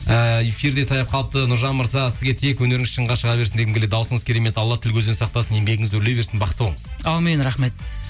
ііі эфир де таяп қалыпты нұржан мырза сізге тек өнеріңіз шыңға шыға берсін дегім келеді дауысыңыз керемет алла тіл көзден сақтасын еңбегіңіз өрлей берсін бақытты бол әумин рахмет